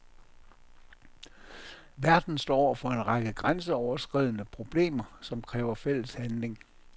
Verden står over for en række grænseoverskridende problemer, som kræver fælles handling.